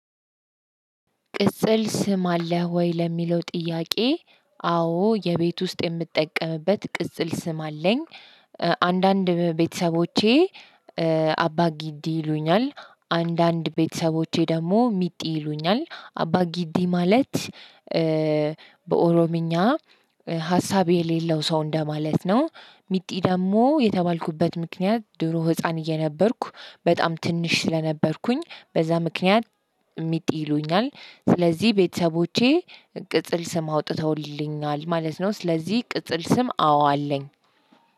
ቅጽል ስም አለህ ወይ? ለሚለው ጥያቄ አዎ የቤት ውስጥ የምጠቀምበት ቅጽል ስም አለኝ። አንዳንድ ቤተሰቦቼ አባ ግዲ ይሉኛል። አንዳንድ ቤተሰቦቼ ደግሞ ምጢ ይሉኛል። አባ ግዲ ማለት፤ በኦሮምኛ ሀሳብ የሌለው ሰው እንደማለት ነው። ሚጢ ደግሞ የተባልኩበት ምክንያት ድሮ ህፃን እየነበርኩ በጣም ትንሽ ስለነበርኩኝ በዛ ምክንያት ሚጢ ይሉኛል። ስለዚህ ቤተሰቦቼ ቅጽል ስም አውጥተውልኛል ማለት ነው። ስለዚህ ቅጽል ስም አዎ አለኝ።